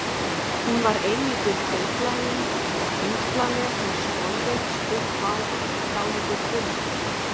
Hún var eilítið feitlagin og þyngslaleg, með skolleitt, stutt hár, dálítið krullað.